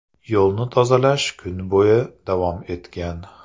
Yo‘lni tozalash kun bo‘yi davom etgan.